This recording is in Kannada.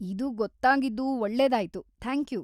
ಇದು ಗೊತ್ತಾಗಿದ್ದು ಒಳ್ಳೆದಾಯ್ತು, ಥ್ಯಾಂಕ್ಯೂ.